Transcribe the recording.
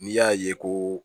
N'i y'a ye ko